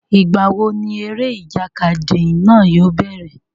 Ìgbà wo ni eré ìjàkadì náà yóò bẹ̀rẹ̀?